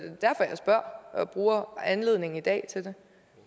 er og bruger anledningen i dag til det